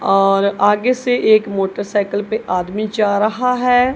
और आगे से एक मोटरसाइकिल पे आदमी जा रहा है।